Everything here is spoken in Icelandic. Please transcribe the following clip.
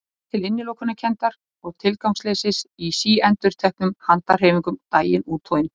Ég fann til innilokunarkenndar og tilgangsleysis í síendurteknum handahreyfingum daginn út og inn.